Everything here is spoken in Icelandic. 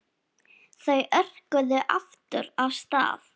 Þau örkuðu aftur af stað.